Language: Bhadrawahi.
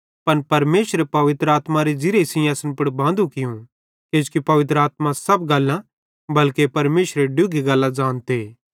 पन परमेशरे पवित्र आत्मारे ज़िरिये सेइं असन पुड़ बांदू कियूं किजोकि पवित्र आत्मा सब गल्लां बल्के परमेशरेरी डुगी गल्लां ज़ानते